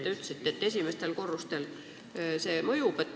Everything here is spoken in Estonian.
Te ütlesite, et esimestel korrustel võib olla radooni mõju.